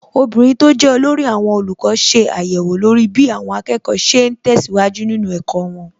Obìnrin tó jẹ́ olórí àwọn olùkọ́ ṣe àyẹ̀wò lórí bí àwọn akẹ́kọ̀ọ́ ṣe ń tẹ̀síwájú nínú ẹ̀kọ́ wọn.